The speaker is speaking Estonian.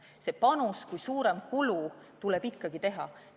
See panus kui suurem kulu tuleb ikkagi teha.